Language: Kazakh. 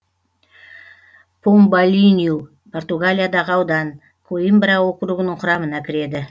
помбалинью португалиядағы аудан коимбра округінің құрамына кіреді